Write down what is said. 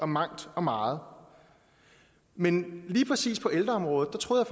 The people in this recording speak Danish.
mangt og meget men lige præcis på ældreområdet troede